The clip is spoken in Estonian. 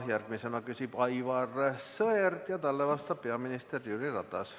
Järgmisena küsib Aivar Sõerd ja talle vastab peaminister Jüri Ratas.